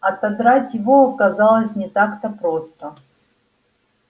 отодрать его оказалось не так-то просто